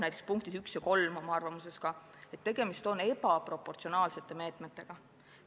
Näiteks punktides 1 ja 3 on öeldud, et tegemist on ebaproportsionaalsete meetmetega.